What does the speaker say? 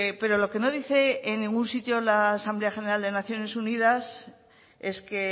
pero lo que no dice en ningún sitio la asamblea general de naciones unidas es que